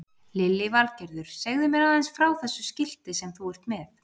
Lillý Valgerður: Segðu mér aðeins frá þessu skilti sem þú ert með?